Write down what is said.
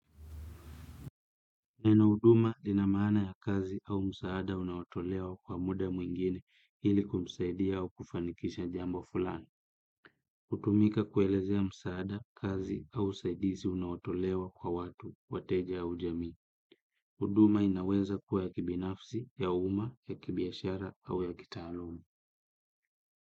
Neno huduma linamaana ya kazi au msaada unaotolewa kwa muda mwingine ili kumsaidia au kufanikisha jambo fulani. Kutumika kuelezea msaada, kazi au usaidizi unaotolewa kwa watu, wateja au jamii. Huduma inaweza kuwa ya kibinafsi, ya uma, ya kibiashara au ya kitaaluma.